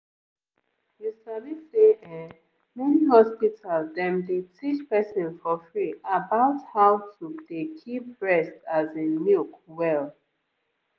you sabi say[um]many hospital dem dey teach person for free about how to dey keep breast as in milk well.